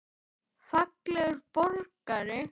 Fallegur borgari?